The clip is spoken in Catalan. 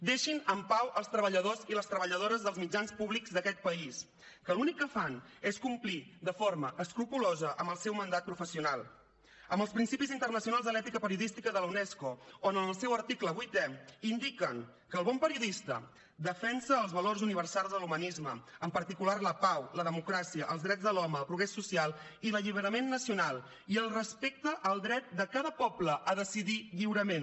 deixin en pau els treballadors i les treballadores dels mitjans públics d’aquest país que l’únic que fan és complir de forma escrupolosa amb el seu mandat professional amb els principis internacionals de l’ètica periodística de la unesco on en el seu article vuitè indiquen que el bon periodista defensa els valors universals de l’humanisme en particular la pau la democràcia els drets de l’home el progrés social i l’alliberament nacional i el respecte al dret de cada poble a decidir lliurement